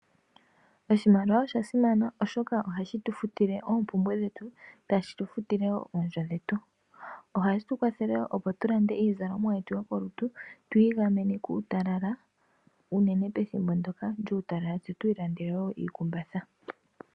Oshimaliwa osha simana oshoka ohashi tufutile oompumbwe dhetu tashi tufutile woo oondjo dhetu. Ohashi tu kwathele woo opo tulande iizalomwa yetu yokolutu, twii gamene kuutalala unene pethimbo ndoka lyuu talala tse twii landele woo iikumbatha.